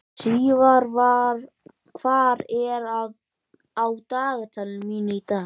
Sívar, hvað er á dagatalinu mínu í dag?